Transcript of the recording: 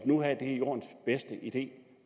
nu er jordens bedste idé